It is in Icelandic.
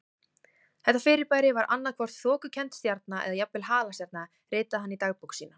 Þetta fyrirbæri var annað hvort þokukennd stjarna eða jafnvel halastjarna ritaði hann í dagbók sína.